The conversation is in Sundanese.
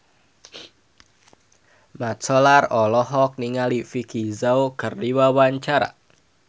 Mat Solar olohok ningali Vicki Zao keur diwawancara